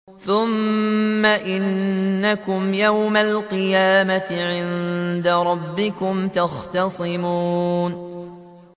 ثُمَّ إِنَّكُمْ يَوْمَ الْقِيَامَةِ عِندَ رَبِّكُمْ تَخْتَصِمُونَ